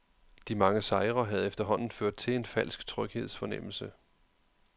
De mange sejre havde efterhånden ført til en falsk tryghedsfornemmelse.